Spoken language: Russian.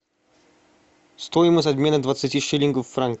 стоимость обмена двадцати шиллингов в франки